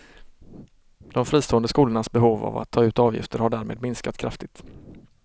De fristående skolornas behov av att ta ut avgifter har därmed minskat kraftigt.